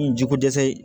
N jiko dɛsɛ